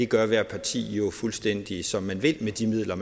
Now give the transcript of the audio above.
gør ethvert parti jo fuldstændig som de vil med de midler